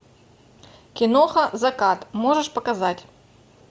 киноха закат можешь показать